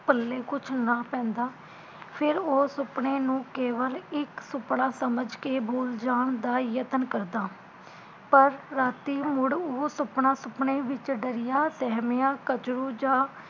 ਪੱਲੇ ਕੁਝ ਨਾ ਪੈਂਦਾ ਫਿਰ ਉਹ ਸੁਪਨੇ ਨੂੰ ਕੇਵਲ ਇਕ ਸੁਪਨਾ ਸਮਝ ਕੇ ਬੂਲ ਜਾਣ ਦਾ ਯਤਨ ਕਰਦਾ ਪਰ ਰਾਤੀ ਮੁੜ ਉਹ ਸੁਪਨਾ ਸੁਪਨੇ ਵਿਚ ਦਰੀਆ ਸਹਿਮਿਆ ਕਝਰੁ ਜਾ